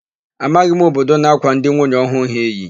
Amaghị m obodo na-ákwà ndị nwunye ọhụụ ha iyi.